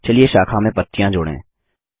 चलिए शाखा में पत्तियाँ जोड़ें